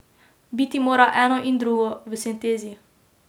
Biti mora eno in drugo, v sintezi.